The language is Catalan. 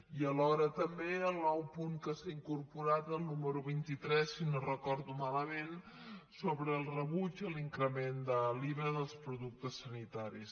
i alhora també el nou punt que s’ha incorporat el número vint tres si no ho recordo malament sobre el rebuig a l’increment de l’iva dels productes sanitaris